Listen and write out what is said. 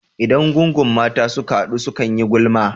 Idan gungun mata suka hadu, sukan yi gulma.